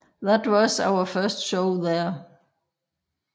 That was our first show there